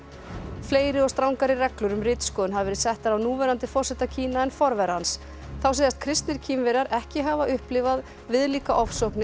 fleiri og strangari reglur um ritskoðun hafa verið settar af núverandi forseta Kína en forvera hans þá segjast kristnir Kínverjar ekki hafa upplifað viðlíka ofsóknir